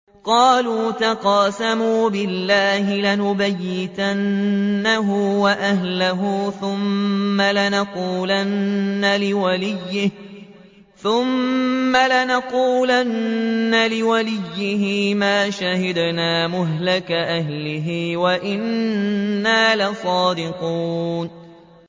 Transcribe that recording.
قَالُوا تَقَاسَمُوا بِاللَّهِ لَنُبَيِّتَنَّهُ وَأَهْلَهُ ثُمَّ لَنَقُولَنَّ لِوَلِيِّهِ مَا شَهِدْنَا مَهْلِكَ أَهْلِهِ وَإِنَّا لَصَادِقُونَ